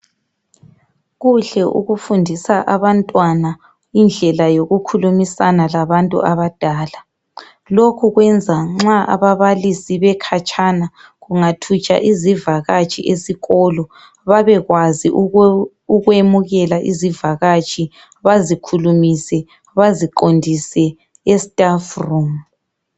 Kuhle ukufundisa abantwana indlela yokukhulumisana labantu abadala lokhu kwenza nxa ababalisi bekhatshana kungathutsha izivakatshi esikolo babekwazi ukwemukela izivakatshi bazikhulumise baziqondise e staff room.